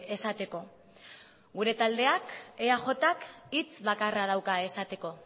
esateko gure taldeak eajk hitz bakarra dauka esateko